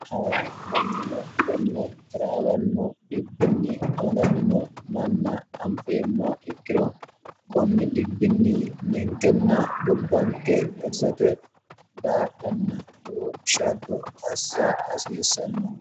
hayi mannino konne daraawannu dhibbinni amalamino manna anfeemma ikkiro kunni dhibbinni ninkenna gobbanke garisate gaadhanna loo shaadbo assia hasiissanno